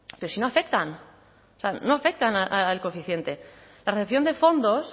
pero si no afectan o sea no afectan al coeficiente la recepción de fondos